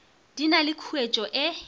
di na le khuetšo ye